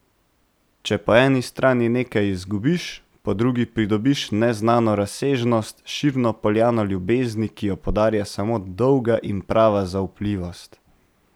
Če po eni strani nekaj izgubiš, po drugi pridobiš neznano razsežnost, širno poljano ljubezni, ki jo podarja samo dolga in prava zaupljivost.